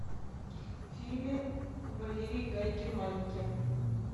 фильмы валерии гай германики